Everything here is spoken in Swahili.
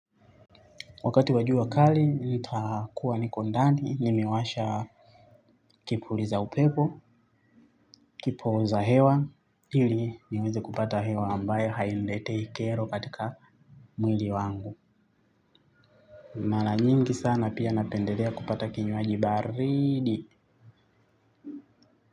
Wakati wajua kali, nita kuwa niko ndani, nimewasha kipuliza upepo, kipoza hewa, hili nimeze kupata hewa ambayo hainileteikero katika mwili wangu. Mala nyingi sana pia napendedea kupata kinyuaji baridi.